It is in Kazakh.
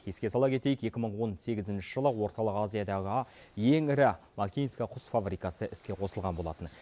еске сала кетейік екі мың он сегізінші жылы орталық азиядағы ең ірі макинск құс фабрикасы іске қосылған болатын